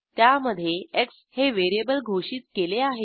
त्यामधे एक्स हे व्हेरिएबल घोषित केले आहे